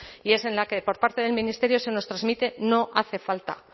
y es en la que por parte del ministerio se nos transmite no hace falta